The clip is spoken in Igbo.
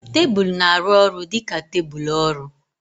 Tebụl na-arụ ọrụ dị ka tebụl ọrụ.